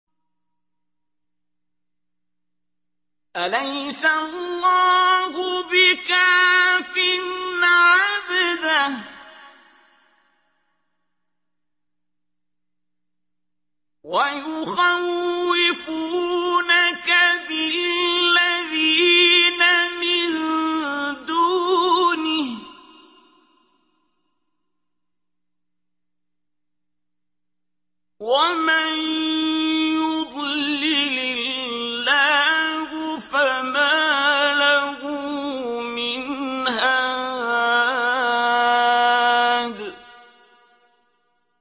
أَلَيْسَ اللَّهُ بِكَافٍ عَبْدَهُ ۖ وَيُخَوِّفُونَكَ بِالَّذِينَ مِن دُونِهِ ۚ وَمَن يُضْلِلِ اللَّهُ فَمَا لَهُ مِنْ هَادٍ